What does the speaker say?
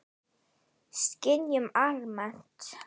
Skynjun almennt